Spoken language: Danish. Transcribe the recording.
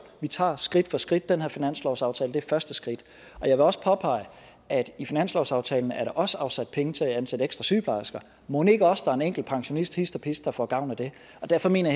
vi tager skridt for skridt og den her finanslovsaftale er første skridt jeg vil også påpege at i finanslovsaftalen er der også afsat penge til at ansætte ekstra sygeplejersker og mon ikke også der er en enkelt pensionist hist og pist der får gavn af det derfor mener